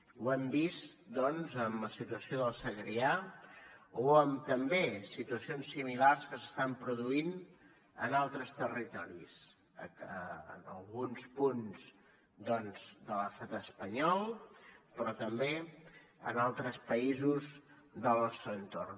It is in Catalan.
ho hem vist doncs en la situació del segrià o també en situacions similars que s’estan produint en altres territoris en alguns punts de l’estat espanyol però també en altres països del nostre entorn